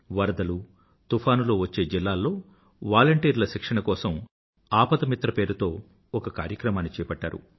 వరదలు తుఫానులు వచ్చే జిల్లాల్లో వాలంటీrla శిక్షణ కోసం ఆపదా మిత్ర పేరుతో ఒక కార్యక్రమాన్ని చేపట్టారు